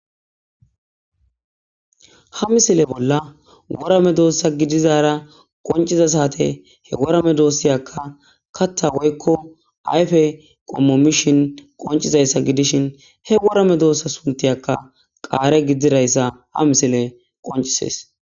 Ha misile bolla worame doossa gidizara qonciza saate he worame doossiyaka katta woykko ayfe qommo mishin qoncizayssa gidishin he worame doossa suntiyakka qaare giddzirayssa ha misile qoncisees